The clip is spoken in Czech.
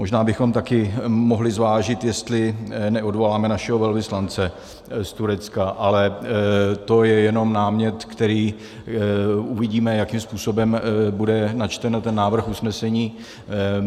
Možná bychom také mohli zvážit, jestli neodvoláme našeho velvyslance z Turecka, ale to je jen námět, který uvidíme, jakým způsobem bude načten ten návrh usnesení.